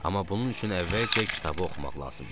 Amma bunun üçün əvvəlcə kitabı oxumaq lazım idi.